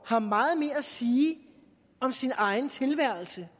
har meget mere at sige om sin egen tilværelse